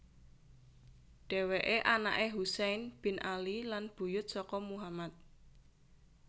Dhéwéké anaké Husain bin Ali lan buyut saka Muhammad